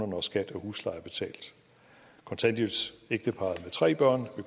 når skat og husleje er betalt kontanthjælpsægteparret med tre børn